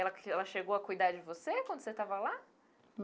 E ela ela chegou a cuidar de você quando você estava lá?